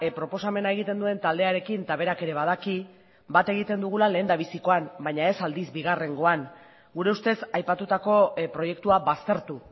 proposamena egiten duen taldearekin eta berak ere badaki bat egiten dugula lehendabizikoan baina ez aldiz bigarrengoan gure ustez aipatutako proiektua baztertu